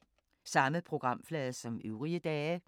Samme programflade som øvrige dage